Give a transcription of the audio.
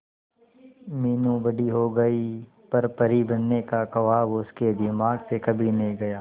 मीनू बड़ी हो गई पर परी बनने का ख्वाब उसके दिमाग से कभी नहीं गया